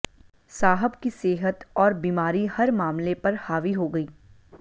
साहब की सेहत और बीमारी हर मामले पर हावी हो गयी